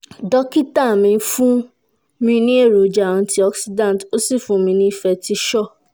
dókítà mi fún ọkọ mi ní èròjà antioxidants ó sì fún mi ní fertisure-f